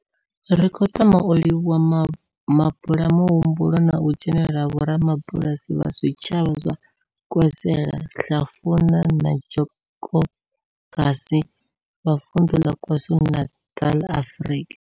Ri khou tama u livhuwa mabulayo muhumbulo na u dzhenela ha vhorabulasi vha zwitshavha zwa Nkwezela, Hlafuna na Njobokazi vha Vundu la KwaZulu-Natal, Afrika.